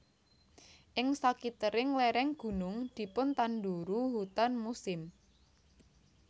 Ing sakitering lereng gunung dipun tanduru hutan musim